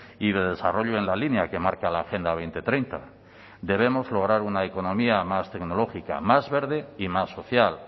y de desarrollo en la línea que marca la agenda dos mil treinta debemos lograr una economía más tecnológica más verde y más social